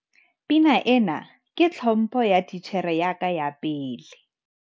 pina ena ke tlhompho ya titjhere ya ka ya pele